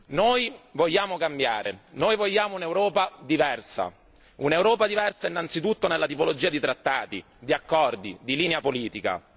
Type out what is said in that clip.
Noi vogliamo cambiare noi vogliamo un'Europa diversa, un'Europa diversa innanzitutto nella tipologia di trattati, di accordi, di linea politica.